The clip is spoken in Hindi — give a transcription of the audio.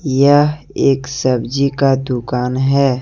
यह एक सब्जी का दुकान है।